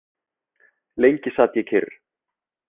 Lengi sat ég kyrr.